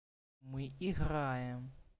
мы играем